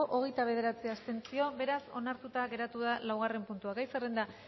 hogeita bederatzi abstentzio beraz onartuta geratu da laugarren puntua gai zerrenda